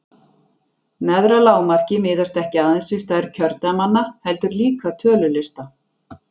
neðra lágmarkið miðast ekki aðeins við stærð kjördæmanna heldur líka tölu lista